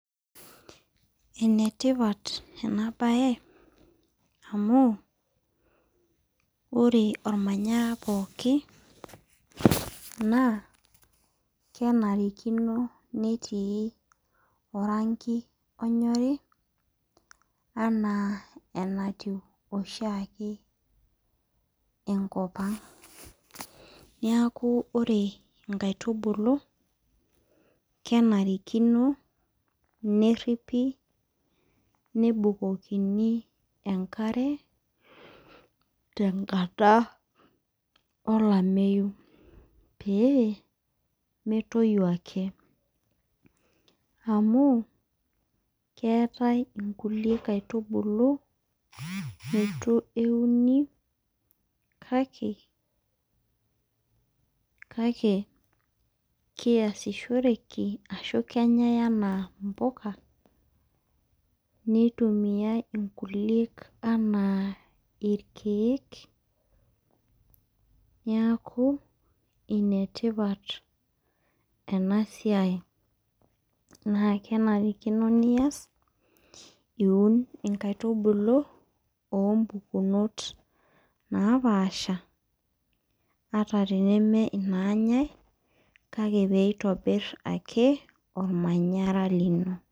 Enetipat enabae amu ore ormanyara pooki na kenarikino netii orangi onyori ana enatiu oshiake enkopang neakubore nkaitubulu kenarikino neripi nebukokini enkare tenkara olameyu pemetoyu ake amu keetae enkai kaitubulu nitu euni kake keasishoreki ashu kenyae anaa mpuka nitumia inkukie anaa irkiek neaku enetipat enasiai na kenarikino nias nkaitubulu naoaasha ataa tanemenyae kake pitibir ormanyara lino.